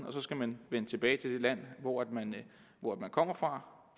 og så skal man vende tilbage til det land hvor man kom fra